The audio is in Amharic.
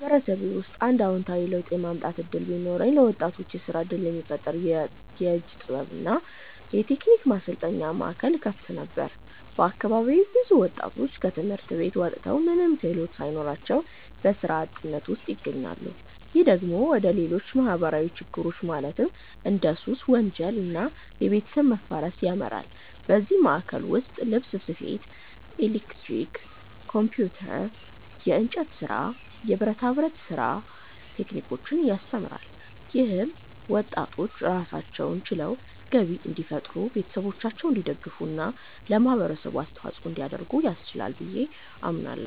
በማህበረሰቤ ውስጥ አንድ አዎንታዊ ለውጥ የማምጣት እድል ቢኖረኝ፣ ለወጣቶች የስራ እድል የሚፈጥር የእጅ ጥበብ እና የቴክኒክ ማሰልጠኛ ማዕከል እከፍት ነበር። በአካባቢዬ ብዙ ወጣቶች ከትምህርት ቤት ወጥተው ምንም ክህሎት ሳይኖራቸው በስራ አጥነት ውስጥ ይገኛሉ። ይህ ደግሞ ወደ ሌሎች ማህበራዊ ችግሮች ማለትም እንደ ሱስ፣ ወንጀል እና የቤተሰብ መፋረስ ያመራል። በዚህ ማዕከል ውስጥ ልብስ ስፌት፣ ኤሌክትሪክ፣ ኮምፒውተር፣ የእንጨት ስራ፣ የብረታ ብረት ስራ ቴክኒኮችን ያስተምራል። ይህም ወጣቶች ራሳቸውን ችለው ገቢ እንዲፈጥሩ፣ ቤተሰቦቻቸውን እንዲደግፉ እና ለማህበረሰቡ አስተዋጽኦ እንዲያደርጉ ያስችላቸዋል ብዬ አምናለሁ።